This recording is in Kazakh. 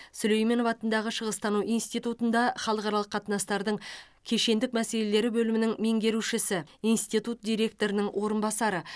сүлейменов атындағы шығыстану институтында халықаралық қатынастардың кешендік мәселелері бөлімінің меңгерушісі институт директорының орынбасары